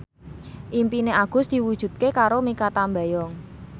impine Agus diwujudke karo Mikha Tambayong